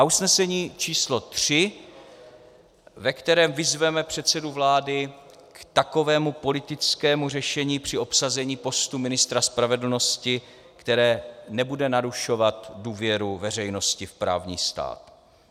A usnesení číslo 3, ve kterém vyzveme předsedu vlády k takovému politickému řešení při obsazení postu ministra spravedlnosti, které nebude narušovat důvěru veřejnosti v právní stát.